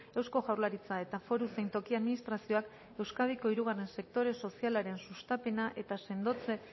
eusko jaurlaritza eta foru zein toki administrazioak euskadiko hirugarren sektore sozialaren sustapena eta